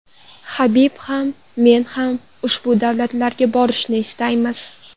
Habib ham men ham ushbu davlatlarga borishni istaymiz.